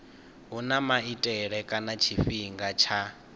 huna maitele kana tshifhinga tsha